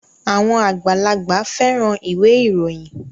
Àwọn àgbàlagbà fẹ́ran ìwé ìròyìn